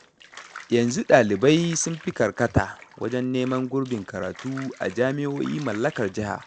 Yanzu ɗalibai sun fi karkata wajen neman gurbin karatu a jami'o'i mallakar jiha.